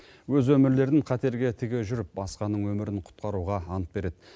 өз өмірлерін қатерге тіге жүріп басқаның өмірін құтқаруға ант береді